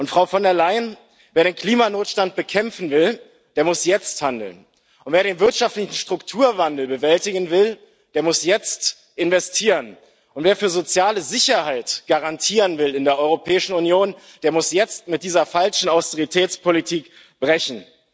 Frau von der Leyen, wer den Klimanotstand bekämpfen will, der muss jetzt handeln, und wer den wirtschaftlichen Strukturwandel bewältigen will, der muss jetzt investieren, und wer soziale Sicherheit garantieren will in der Europäischen Union, der muss jetzt mit dieser falschen Austeritätspolitik brechen.